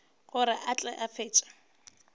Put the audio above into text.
gore a tle a fetše